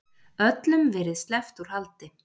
Öllum verið sleppt úr haldi